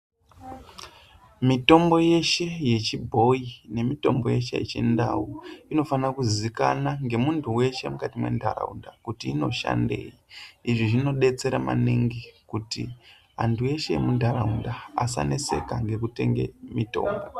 Mitombo yeshe yechibhoyi nemitombo yeshe yechindau inofanirwa kuzikanwa ngemuntu weshe mukati mwendaraunda kuti inoshandeyi izvi zvinodetsera maningi kuti antu ese emuntharaunda asaneseke ngekutenge mutombo.